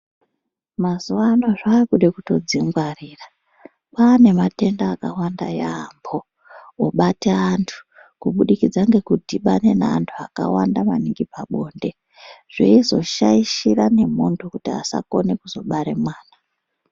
Mazuva ano zvakuda kutodzingwarira kwaane matenda akawanda yaamho obate antu kubudikidza ndekudhibane neanhu akawanda maningi pabonde zveizoshaishira nemhondo kuti asakone kuzobare mwana.